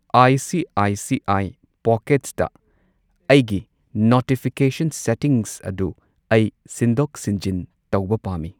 I C I C I ꯄꯣꯀꯦꯠꯁꯇ ꯑꯩꯒꯤ notification settings ꯑꯗꯨ ꯑꯩ ꯁꯤꯟꯗꯣꯛ ꯁꯤꯟꯖꯤꯟ ꯇꯧꯕ ꯄꯥꯝꯃꯤ꯫